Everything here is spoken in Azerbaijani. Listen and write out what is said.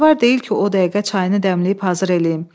Samavar deyil ki, o dəqiqə çayını dəmləyib hazır eləyim.